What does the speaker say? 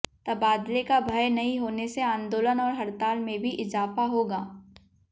तबादले का भय नहीं होने से आंदोलन और हड़ताल में भी इजाफा होगा